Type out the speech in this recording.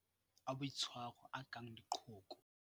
Mathata a boitshwaro a kang leqhoko.